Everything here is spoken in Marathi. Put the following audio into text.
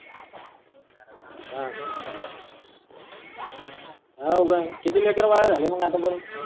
ह हाव काय किती लेकर बाद झाले मग आता पर्यन्त.